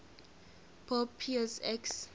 pope pius x